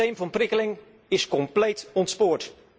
Het systeem van prikkeling is compleet ontspoord.